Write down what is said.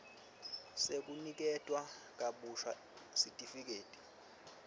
sekuniketwa kabusha sitifiketi